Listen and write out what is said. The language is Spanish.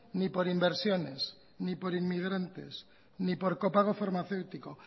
ni por inversiones ni por inmigrantes ni por copago farmacéutico